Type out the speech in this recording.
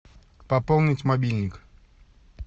пополнить мобильник